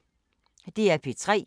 DR P3